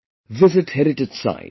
Visit Heritage Sites